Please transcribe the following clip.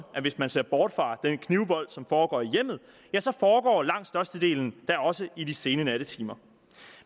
at hvis man ser bort fra den knivvold som foregår i hjemmet ja så foregår langt størstedelen da også i de sene nattetimer